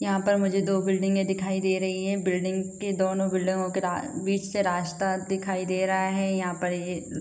यहाँ पर मुझे दो बिल्डिंगे दिखाई दे रही हैं। बिल्डिंग के दोनों बिल्डिंगो के रा बिच से रास्ता दिखाई दे रहा है यहाँ पर ये --